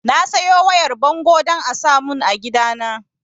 Na sayo wayar bango don a samun a gidana